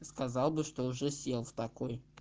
сказал бы что уже сел в такой